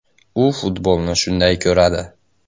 U futbolni shunday ko‘radi.